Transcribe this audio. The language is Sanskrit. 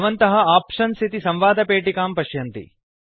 भवन्तः आप्शन्स् इति संवादपेटिकां पश्यन्ति